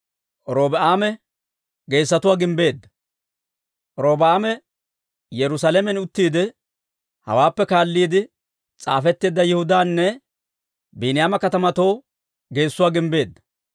Robi'aame Yerusaalamen uttiide, hawaappe kaalliide s'aafetteedda Yihudaanne Biiniyaama katamatoo geessuwaa gimbbeedda.